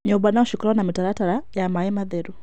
Nyũmba no cikorwo na mĩtaratara ya maĩ matheru.